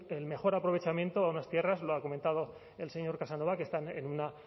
el mejor aprovechamiento a unas tierras lo ha comentado el señor casanova que están en una